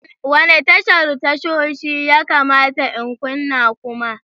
Wane tashar tashoshi ya kamata in kunna kuma?